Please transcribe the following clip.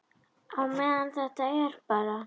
Á meðan þetta er bara.